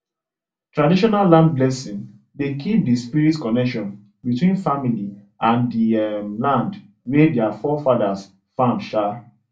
traditional land blessing dey keep the spirit connection between family and the um land wey their forefathers farm um